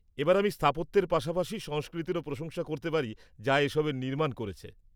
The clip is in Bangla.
-এবার আমি স্থাপত্যের পাশাপাশি সংস্কৃতিরও প্রশংসা করতে পারি যা এসবের নির্মাণ করেছে।